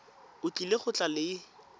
o tlile go tla le